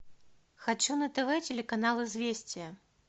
хочу на тв телеканал известия